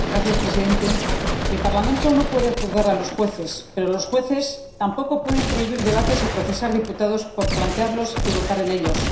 Señor presidente, el Parlamento no puede juzgar a los jueces, pero los jueces tampoco pueden prohibir debates y procesar a diputados por plantearlos y votar en ellos.